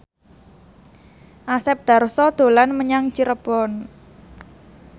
Asep Darso dolan menyang Cirebon